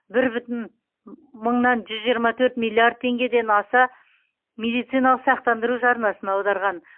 бір бүтін мыңнан жүз жиырма төрт миллиард теңгеден аса медициналық сақтандыру жарнасын аударған